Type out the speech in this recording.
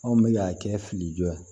Anw bɛ k'a kɛ fili jo ye